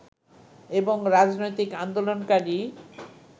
এবং রাজনৈতিক আন্দোলনকারী